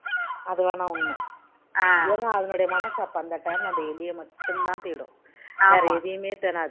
அது வேணா உன்மை ஏன்னா அதன்னுடைய மனசு அப்போ அந்த time ல அந்த எலிய மட்டும் தான் தேடும் வேற எதையுமே தேடாது